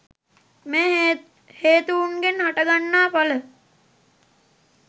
මේ හේතූන්ගෙන් හටගන්නා ඵල